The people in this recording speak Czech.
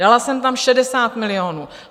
Dala jsem tam 60 milionů.